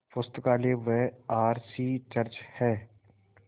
पुस्तकालय व R C church हैं